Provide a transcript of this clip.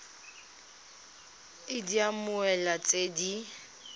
id ya mmoelwa tse di